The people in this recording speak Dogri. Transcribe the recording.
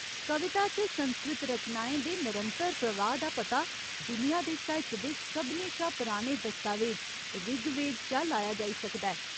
कविता च संस्कृत रचनाएं दे नरंतर प्रवाह् दा पता दुनिया दे साहित्य दे सभनें शा पराने दस्तावेज ऋग्वेद चा लाया जाई सकदा ऐ।